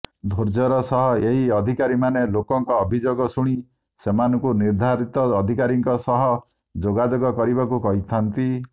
ଧୋର୍ଯ୍ୟର ସହ ଏହି ଅଧିକାରୀମାନେ ଲୋକଙ୍କ ଅଭିଯୋଗ ଶୁଣି ସେମାନଙ୍କୁ ନିର୍ଦ୍ଧାରିତ ଅଧିକାରୀଙ୍କ ସହ ଯୋଗାଯୋଗ କରିବାକୁ କହିଥାନ୍ତି